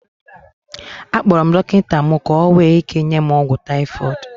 Akpọrọ m dọkịta mụ ka ọ nwee ike nye m ọgwụ typhoid